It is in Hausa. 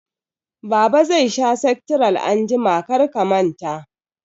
Baba zai sha sektiral anjima, kar ka manta